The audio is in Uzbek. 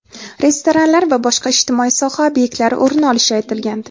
restoranlar va boshqa ijtimoiy soha ob’ektlari o‘rin olishi aytilgandi.